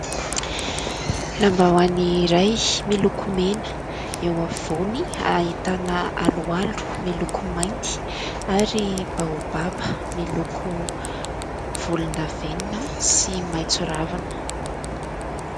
Lambaoany iray miloko mena, eo afovoany ahitana aloalo miloko mainty ary baobaba miloko volon-davenina sy maitso ravina.